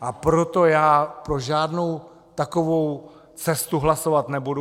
A proto já pro žádnou takovou cestu hlasovat nebudu.